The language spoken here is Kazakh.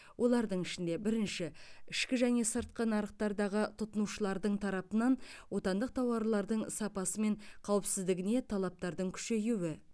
олардың ішінде бірінші ішкі және сыртқы нарықтардағы тұтынушылардың тарапынан отандық тауарлардың сапасы мен қауіпсіздігіне талаптардың күшейуі